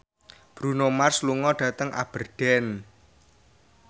Bruno Mars lunga dhateng Aberdeen